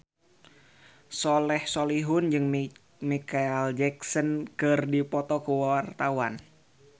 Soleh Solihun jeung Micheal Jackson keur dipoto ku wartawan